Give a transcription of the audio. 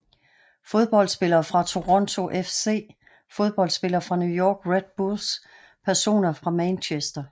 Fodboldspillere fra Toronto FC Fodboldspillere fra New York Red Bulls Personer fra Manchester